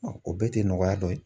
o bɛɛ tɛ nɔgɔya dɔ ye.